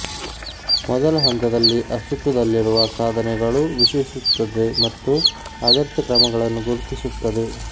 ಮೊದಲ ಹಂತದಲ್ಲಿ ಅಸ್ತಿತ್ವದಲ್ಲಿರುವ ಸಾಧನೆಗಳು ವಿಶ್ಲೇಷಿಸುತ್ತದೆ ಮತ್ತು ಅಗತ್ಯ ಕ್ರಮಗಳನ್ನು ಗುರುತಿಸುತ್ತದೆ